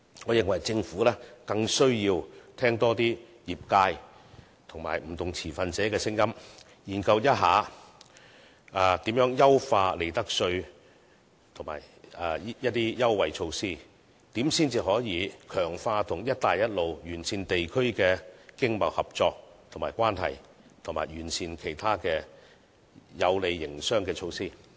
我認為政府更需要多聆聽業界及不同持份者的聲音，研究如何優化利得稅及一些優惠措施，如何才能強化與"一帶一路"沿線地區的經貿合作及關係，以及完善其他有利營商的措施。